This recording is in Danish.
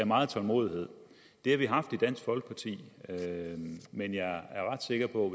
meget tålmodighed det har vi haft i dansk folkeparti men jeg er ret sikker på